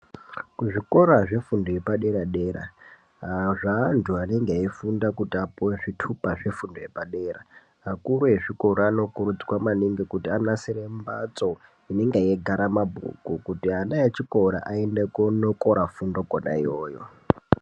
Kuzvikora zvefundo yepadera-dera zveantu anenge eifunda kuti apuwe zvitupa zvefundo yepadera akuruvezvikora anokurudzirwa maningi kuti anasire mbatso inenga yeigare mabhuku kuti ana echokora aende kuonokora fundo kona iyoyo.